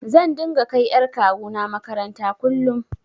Zan dinga kai ƴar kawuna maƙaranta kullum.